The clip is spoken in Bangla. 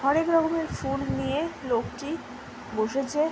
হরেক রকমের ফুল নিয়ে লোকটি বসছে ।